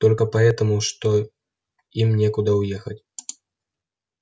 только поэтому что им некуда уехать